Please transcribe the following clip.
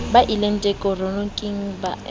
ba eleketeroniki ba se ba